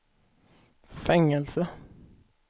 fängelse